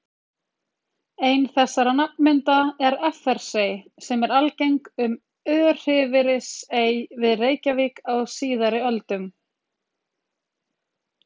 Ein þessara nafnmynda er Effersey, sem var algeng um Örfirisey við Reykjavík á síðari öldum.